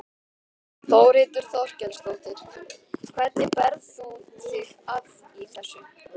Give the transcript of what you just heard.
Þórhildur Þorkelsdóttir: Hvernig berð þú þig að í þessu?